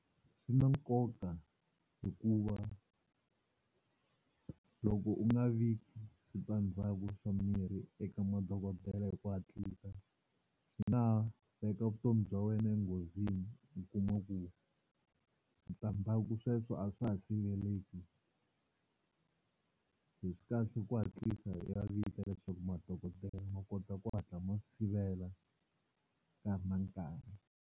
Swi na nkoka hikuva loko u nga vi switandzhaku swa mirhi eka madokodela hi ku hatlisa swi nga ha veka vutomi bya wena enghozini u kuma ku switandzhaku sweswo a swa ha siveleleki, se swi kahle ku hatlisa u ya vika leswaku madokodela ma kota ku hatla ma swi sivela ka ha ri na nkarhi.